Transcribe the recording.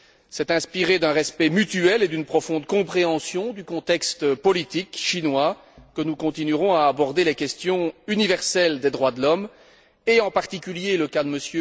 C'est inspiré d'un respect mutuel et d'une profonde compréhension du contexte politique chinois que nous continuerons à aborder les questions universelles des droits de l'homme, et en particulier le cas de M.